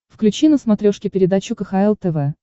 включи на смотрешке передачу кхл тв